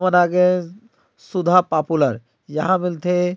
और आगे सुधा पॉपुलर यहाँ मिलथे।